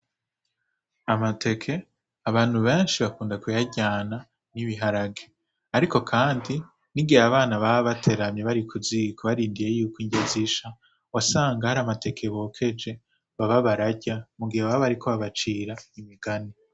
Amateke abantu beshi bakunda kuyaryana n'ibiharage ariko kandi n'igihe abana baba bateramye bari kuziko barindiriye yuko irya zisha wasanga hari amateke bokeje baba bararya mugihe baba bariko babacira imigani.